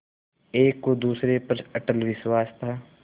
एक को दूसरे पर अटल विश्वास था